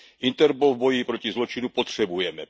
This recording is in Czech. Interpol v boji proti zločinu potřebujeme.